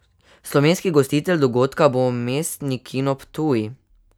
Slovenski gostitelj dogodka bo Mestni kino Ptuj.